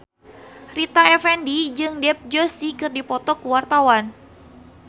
Rita Effendy jeung Dev Joshi keur dipoto ku wartawan